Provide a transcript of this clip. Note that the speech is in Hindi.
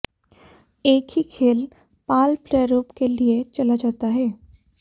एक ही खेल पाल प्रारूप के लिए चला जाता है